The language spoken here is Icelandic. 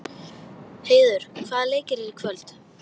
Heiður, hvaða leikir eru í kvöld?